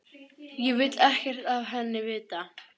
Ég vil ekkert af henni vita.